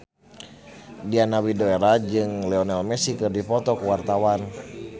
Diana Widoera jeung Lionel Messi keur dipoto ku wartawan